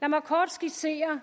lad mig kort skitsere